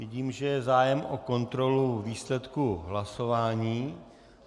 Vidím, že je zájem o kontrolu výsledku hlasování.